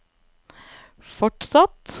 fortsatt